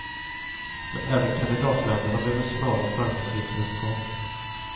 Men även kandidatländerna behöver snara och framgångsrika resultat.